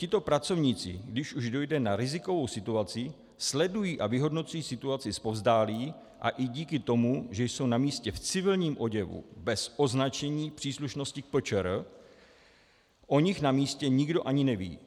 Tito pracovníci, když už dojde na rizikovou situaci, sledují a vyhodnocují situaci zpovzdálí a i díky tomu, že jsou na místě v civilním oděvu, bez označení příslušnosti k PČR, o nich na místě nikdo ani neví.